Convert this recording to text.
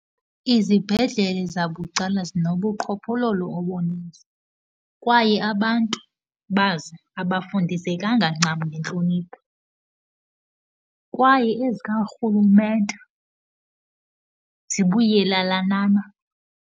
Izibhedlele zabucala zinobuqhophololo obuninzi kwaye abantu bazo abafundisekanga ncam ngentlonipho. Kwaye ezikarhulumente zibuyelelanana.